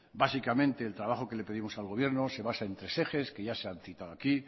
básicamente el trabajo que le pedimos al gobierno se basa en tres ejes que ya se han citado aquí